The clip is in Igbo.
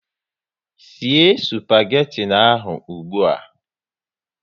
Sie spageti ahụ ụgbụa!